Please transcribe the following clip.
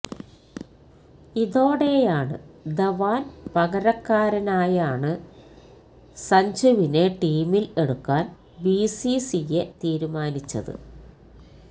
ഇതോടെയാണ് ധവാന് പകരക്കാരനായാണ് സഞ്ജുവിനെ ടീമിൽ എടുക്കാൻ ബിസിസിഐ തീരുമാനിച്ചത്